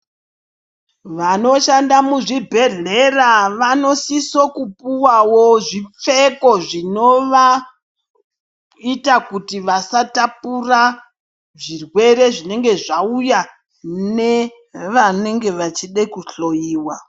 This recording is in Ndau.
Vanoshanda muzvibhedhlera vanosiso kupuwawo zvipfeko zvinovaita kuti vasatapura zvirwere zvinenge zvauya nevanenge vachide kuhloyiwa.